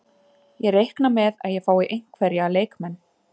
Ég reikna með að ég fái einhverja leikmenn.